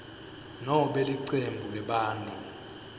nobe licembu lebantfu